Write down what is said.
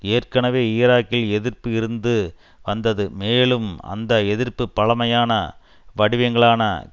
ஏற்கனவே ஈராக்கில் எதிர்ப்பு இருந்து வந்தது மேலும் அந்த எதிர்ப்பு பழமையான வடிவங்களான